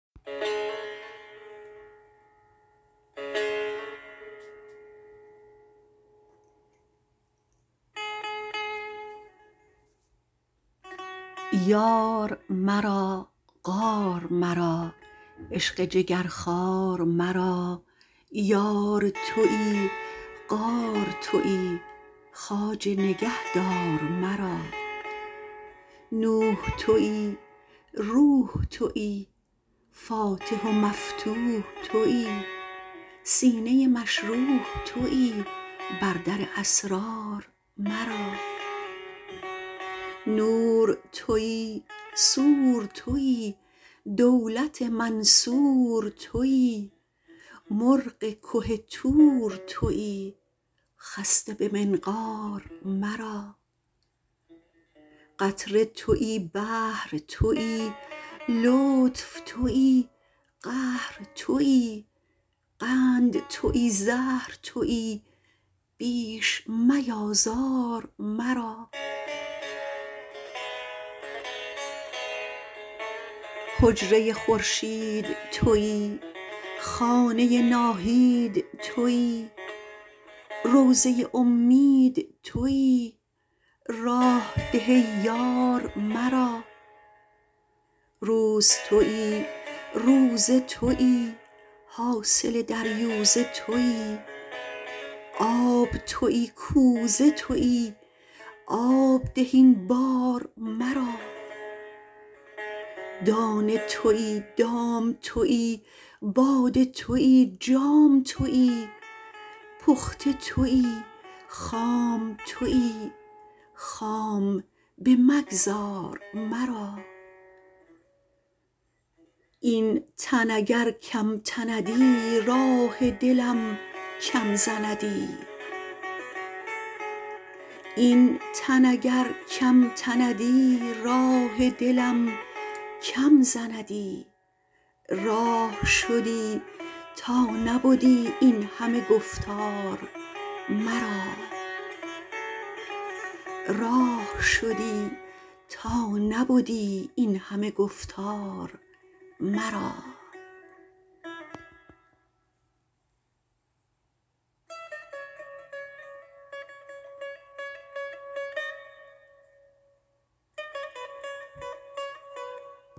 یار مرا غار مرا عشق جگرخوار مرا یار تویی غار تویی خواجه نگهدار مرا نوح تویی روح تویی فاتح و مفتوح تویی سینه مشروح تویی بر در اسرار مرا نور تویی سور تویی دولت منصور تویی مرغ که طور تویی خسته به منقار مرا قطره تویی بحر تویی لطف تویی قهر تویی قند تویی زهر تویی بیش میآزار مرا حجره خورشید تویی خانه ناهید تویی روضه امید تویی راه ده ای یار مرا روز تویی روزه تویی حاصل دریوزه تویی آب تویی کوزه تویی آب ده این بار مرا دانه تویی دام تویی باده تویی جام تویی پخته تویی خام تویی خام بمگذار مرا این تن اگر کم تندی راه دلم کم زندی راه شدی تا نبدی این همه گفتار مرا